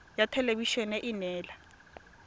ya thelebi ene e neela